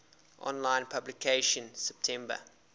online publication september